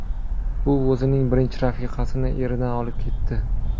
U o‘zining birinchi rafiqasini eridan olib ketdi.